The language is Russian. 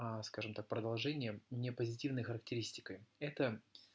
скажем так продолжение мне позитивной характеристикой это